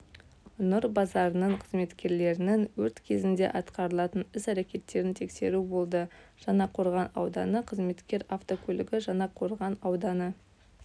нұр базарының қызметкерлерінің өрт кезінде атқарылатын іс-әрекеттерін тексеру болды жаңақорған ауданы қызметкер автокөлігі жаңақорған ауданы